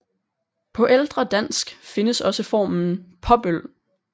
På ældre dansk findes også formen Påbøl